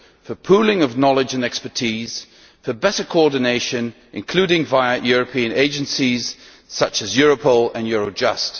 for pooling of knowledge and expertise, for better coordination, including via European agencies such as Europol and Eurojust.